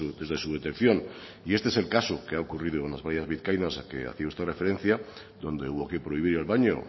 desde su detección y este es el caso que ha ocurrido en las playas vizcaínas al que hacía usted referencia donde hubo que prohibir el baño o